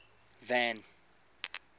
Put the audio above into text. van